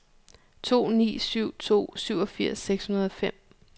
to ni syv to syvogfirs seks hundrede og fem